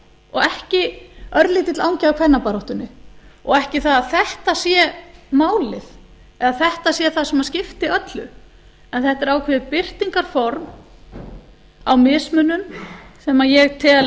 og ekki örlítill angi af kvennabaráttunni og ekki það að þetta sé málið eða þetta sé það sem skiptir öllu en þetta er ákveðið birtingarform á mismunum sem ég tel